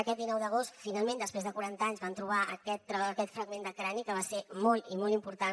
aquest dinou d’agost finalment després de quaranta anys van trobar aquest fragment de crani que va ser molt i molt important